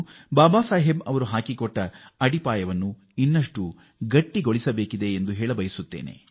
ಬಾಬಾ ಸಾಹೇಬ್ ಅವರು ಹಾಕಿಕೊಟ್ಟಿರುವ ಬುನಾದಿಯನ್ನು ಭದ್ರಪಡಿಸಬೇಕು ಎಂದು ಹೇಳಲು ಇಚ್ಛಿಸುತ್ತೇನೆ